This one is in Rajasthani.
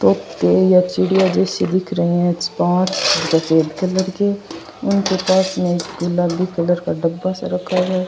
तोते या चिड़िया जैसे दिख रही है उनके पास में गुलाबी कलर का डब्बा जैसा रखा हुआ है।